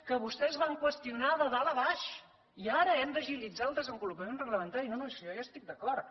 que vostès van qüestionar de dalt a baix i ara hem d’agilitzar el de s envolupament reglamentari no no si jo ja hi estic d’acord